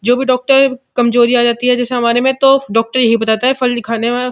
जो भी डॉक्टर कमजोरी आ जाती है जैसे हमारे में तो डॉक्टर यही बताता है फल ही खाना --